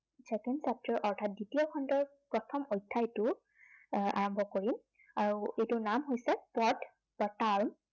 second chapter অৰ্থাৎ দ্বিতীয় খণ্ডৰ প্ৰথম অধ্য়ায়টো, আহ আৰম্ভ কৰো। আৰু এইটোৰ নাম হৈছে পদ বা ।